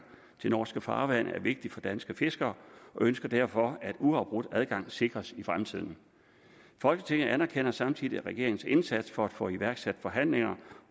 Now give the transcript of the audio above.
til norske farvande er vigtigt for danske fiskere og ønsker derfor at uafbrudt adgang sikres i fremtiden folketinget anerkender samtidig regeringens indsats for at få iværksat forhandlinger